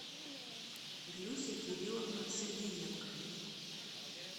глюся кирилловна сергиенко